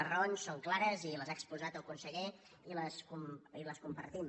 les raons són clares i les ha exposat el conseller i les compartim